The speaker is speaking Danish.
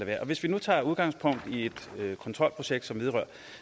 være hvis vi nu tager udgangspunkt i et kontrolprojekt som vedrører